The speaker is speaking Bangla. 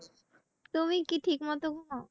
তুমি কি ঠিক মত ঘুমাও?